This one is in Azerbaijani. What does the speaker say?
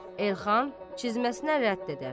Elxan, cizməsinə rədd edər.